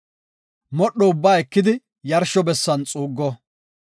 Modho ubbaa ekidi yarsho bessan xuuggo.